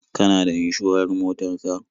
Kana da inshorar motar ka?